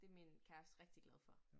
Det min kæreste rigtig glad for